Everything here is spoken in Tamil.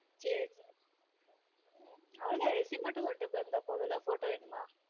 சேரி உம் அவ்ளோ தான் resume மட்டும் கொண்டுட்டு வந்தா போதும்ல photo வேணுமா